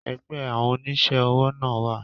Ẹgbẹ́ àwọn onísẹ́ òwò náà wà